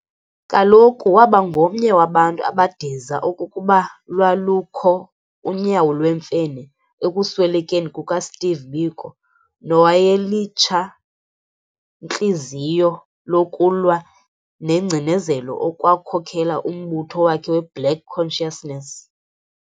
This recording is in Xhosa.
Kaloku waba ngomnye wabantu abadiza okokuba lwalukho unyawo lwemfene ekuswelekeni kukaSteve Biko nowayelitshantliziyo lokulwa negcinezelo ekwakhokhela umbutho wakhe we"Black Consciousness.